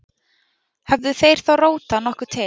Höfðu þeir þó rótað nokkuð til